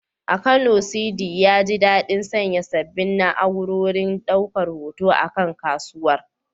A Kano, Sidi, ya ji daɗin sanya sabbin na’urorin ɗaukar hoto a kan kasuwar.